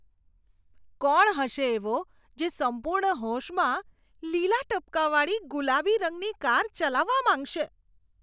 કોણ હશે એવો જે સંપૂર્ણ હોશમાં લીલા ટપકાંવાળી ગુલાબી રંગની કાર ચલાવવા માંગશે?